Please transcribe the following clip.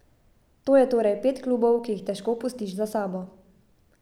To je torej pet klubov, ki jih težko pustiš za sabo.